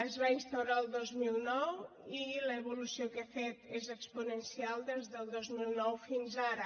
es va instaurar el dos mil nou i l’evolució que ha fet és exponencial des del dos mil nou fins ara